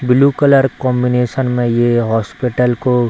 blue colour combination में ये hospital को --